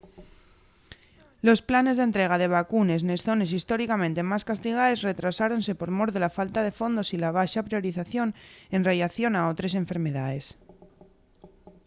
los planes d’entrega de vacunes nes zones históricamente más castigaes retrasáronse por mor de la falta de fondos y la baxa priorización en rellación a otres enfermedaes